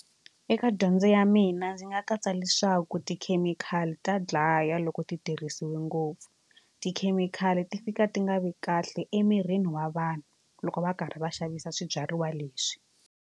Eka dyondzo ya mina ndzi nga katsa leswaku tikhemikhali ta dlaya loko ti tirhisiwe ngopfu tikhemikhali ti fika ti nga vi kahle emirini wa vanhu loko va karhi va xavisa swibyariwa leswi.